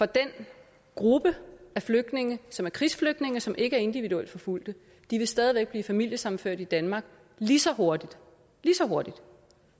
den gruppe af flygtninge som er krigsflygtninge som ikke er individuelt forfulgte stadig væk vil blive familiesammenført i danmark lige så hurtigt lige så hurtigt